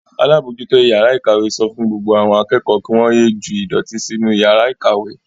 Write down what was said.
Alábòójútó ìyàrá-ìkàwé sọ fún gbogbo àwọn akẹ́kọ̀ọ́ kí wọ́n ye ju ìdọ̀tí sí inú ìyàrá-ìkàwé.